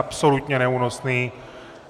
Absolutně neúnosný.